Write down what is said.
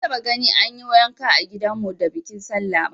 Ban taba gani an yi yanka a gidan mu da bikin sallah ba